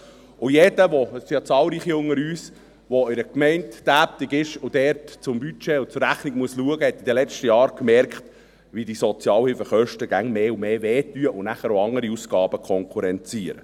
Und jeder – es sind ja zahlreiche unter uns –, der in einer Gemeinde tätig ist und dort zum Budget und zur Rechnung schauen muss, hat in den letzten Jahren gemerkt, wie diese Sozialhilfekosten mehr und mehr schmerzen und dann auch andere Ausgaben konkurrenzieren.